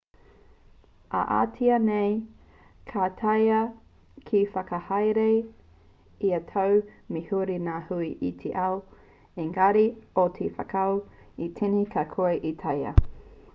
ā-atiā nei ka taea te whakahaere ia tau me huri ngā hui i te ao engari mō te whakaū i tēnei ka kore e taea